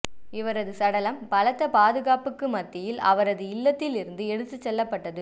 இவரது சடலம் பலத்த பாதுகாப்புக்கு மத்தியில் அவரது இல்லத்தில் இருந்து எடுத்துச் செல்லப்பட்டது